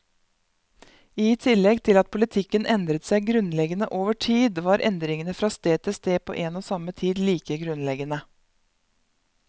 I tillegg til at politikken endret seg grunnleggende over tid, var endringene fra sted til sted på en og samme tid like grunnleggende.